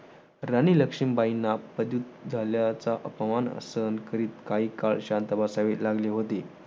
राणी लक्ष्मीबाईंना झाल्याचा अपमान सहन करीत काही काळ शांत बसावे लागले होते.